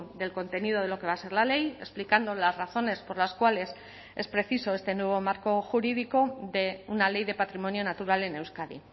del contenido de lo que va a ser la ley explicando las razones por las cuales es preciso este nuevo marco jurídico de una ley de patrimonio natural en euskadi